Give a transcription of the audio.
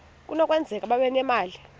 kunokwenzeka babe nemali